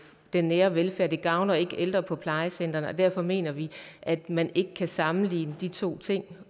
den nære velfærd det gavner ikke ældre på plejecentrene og derfor mener vi at man ikke kan sammenligne de to ting